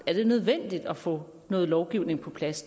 er det nødvendigt at få noget lovgivning på plads